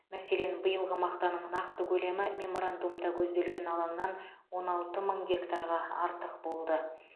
мәселен биылғы мақтаның нақты көлемі меморандумда көзделген алаңнан он алты мың гектарға артық болды